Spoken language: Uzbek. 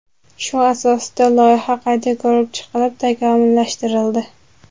Shu asosida loyiha qayta ko‘rib chiqilib, takomillashtirildi.